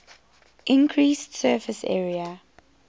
increased surface area